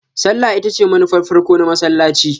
Sallah ita ce manufar farko na masallaci.